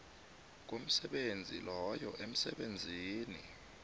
komsebenzi loyo emsebenzini